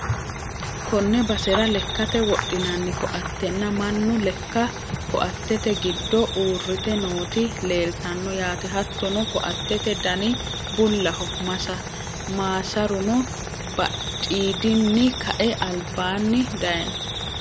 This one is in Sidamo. konne basera lekkate wodhinanni koattenna mannu lekka koattete giddo uurrite nooti leeltano yaate, hattono koattete dani bullaho maasaruno badhiidinni kae albaanni dayiinoho.